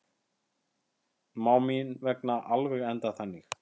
Má mín vegna alveg enda þannig.